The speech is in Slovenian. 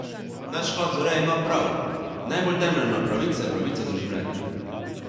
Nadškof Zore ima prav, najbolj temeljna pravica je pravica do življenja.